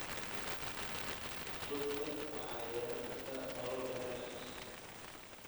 rugta waxay yeelan kartaa nolol dheer.